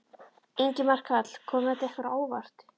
Ingimar Karl: Kom þetta ykkur á óvart?